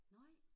Nej